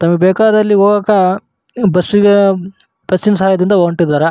ತಮಗೆ ಬೇಕಾದಲ್ಲಿ ಹೋಗಾಕ ಬಸ್ಸಿ ಬಸ್ಸಿ ನ ಸಹಾಯದಿಂದ ಹೊಂಟಿದ್ದಾರೆ.